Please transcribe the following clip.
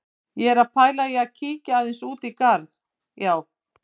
Ég er að pæla í að kíkja aðeins út í garð, já.